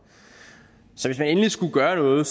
så hvis man endelig skulle gøre noget